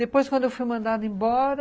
Depois, quando eu fui mandada embora,